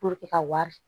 ka wari